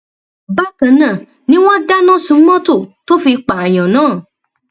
bákan náà ni wọn dáná sun mọtò tó fi pààyàn náà